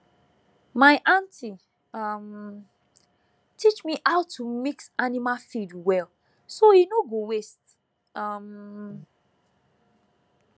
my aunty um teach me how to mix animal feed well so e no go waste um